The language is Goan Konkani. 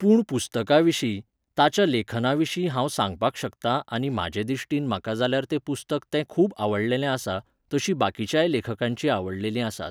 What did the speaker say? पूण पुस्तका विशीं, ताच्या लेखना विशीं हांव सांगपाक शकतां आनी म्हाजे दिश्टीन म्हाका जाल्यार तें पुस्तक तें खूब आवडलेलें आसा, तशी बाकीच्याय लेखकांचीं आवडलेलीं आसात.